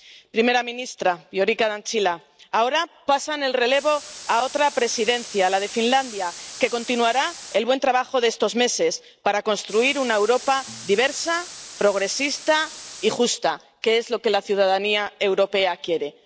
Primera ministra, Viorica Dăncilă, ahora pasan el relevo a otra Presidencia, la de Finlandia, que continuará el buen trabajo de estos meses para construir una Europa diversa, progresista y justa, que es lo que la ciudadanía europea quiere.